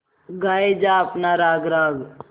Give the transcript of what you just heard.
गाये जा अपना राग राग